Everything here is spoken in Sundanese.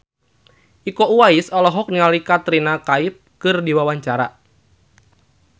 Iko Uwais olohok ningali Katrina Kaif keur diwawancara